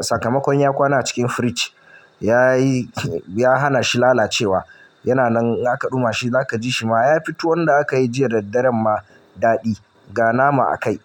sakamakon ya kwana a cikin firij yayi ya hana shi lalacewa yana nan zaka ɗuma shi zaka ji shi ma ya fito wanda aka yi jiya daddare ma daɗi ga nama a kai.